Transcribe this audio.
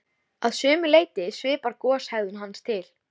Að sumu leyti svipar goshegðun hans til